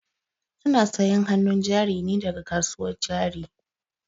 Ana sayan hanun jari ne daga kasuwar jari